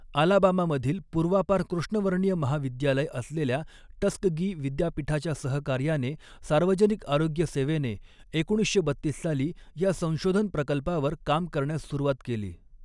आलाबामामधील पूर्वापार कृष्णवर्णीय महाविद्यालय असलेल्या टस्कगी विद्यापीठाच्या सहकार्याने सार्वजनिक आरोग्य सेवेने एकोणीसशे बत्तीस साली या संशोधन प्रकल्पावर काम करण्यास सुरुवात केली.